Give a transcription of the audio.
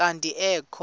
kanti ee kho